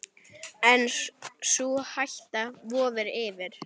En sú hætta vofir yfir.